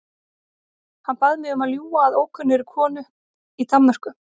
Hann bað mig um að ljúga að ókunnugri konu í Danmörku.